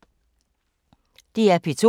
DR P2